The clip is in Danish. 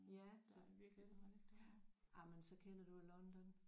Ja selvfølgelig ja jamen så kender du jo London